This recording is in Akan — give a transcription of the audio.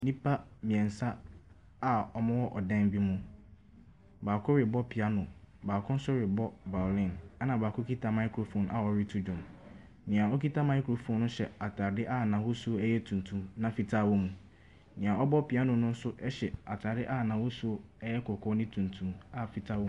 Nnipa mmiɛnsa a wɔwɔ dan bi mu. Baako rebɔ piano. Baako nso rebɔ baarin. Ɛna baako kita microphone a ɔreto dwom. Nea okita microphone hyɛ ataade tuntum a fitaa wɔ mu.